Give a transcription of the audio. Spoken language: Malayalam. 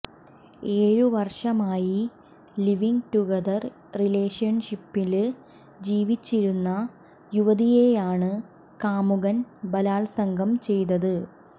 ഏഴ് വര്ഷമായി ലിവ് ഇന് ടുഗദർ റിലേഷന്ഷിപ്പില് ജീവിച്ചിരുന്ന യുവതിയെയാണ് കാമുകൻ ബലാത്സംഗം ചെയ്തത്